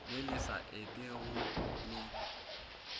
le le sa etego le